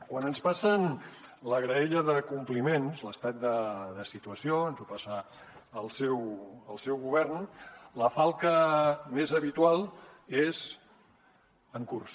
quan ens passen la graella de compliments l’estat de situació ens ho passa el seu govern la falca més habitual és en curs